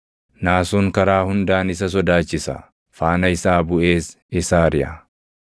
Naasuun karaa hundaan isa sodaachisa; faana isaa buʼees isa ariʼa.